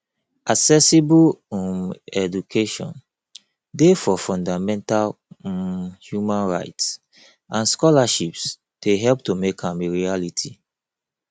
accessible um education dey for fundamental um human rights and scholarships dey help to make am a reality